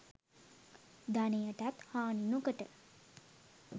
ධනයටත් හානි නොකොට